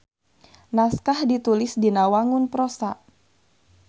Naskah ditulis dina wangun prosa.